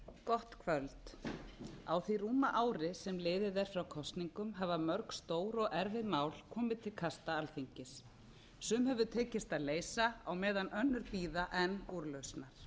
gott kvöld á því rúma ári sem liðið er frá kosningum hafa mörg stór og erfið mál komið til kasta alþingis sum hefur tekist að leysa á meðan önnur bíða enn úrlausnar